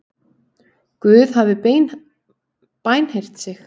Guð hafi bænheyrt sig